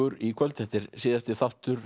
í kvöld þetta er síðasti þáttur